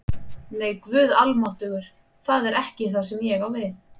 Nei, Guð almáttugur, það er ekki það sem ég á við